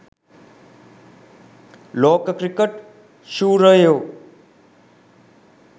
ලෝක ක්‍රිකට් ශූරයෝ